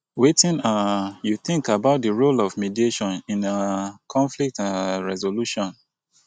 wetin um you think about di role of mediation in um conflict um resolution?